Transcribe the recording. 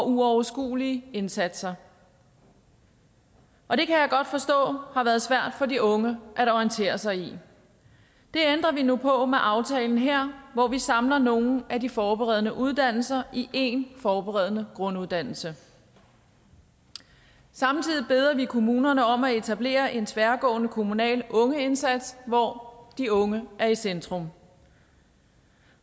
uoverskuelige indsatser og det kan jeg godt forstå har været svært for de unge at orientere sig i det ændrer vi nu på med aftalen her hvor vi samler nogle af de forberedende uddannelser i én forberedende grunduddannelse samtidig beder vi kommunerne om at etablere en tværgående kommunal ungeindsats hvor de unge er i centrum